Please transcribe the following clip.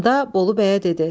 Onda Bolu bəyə dedi: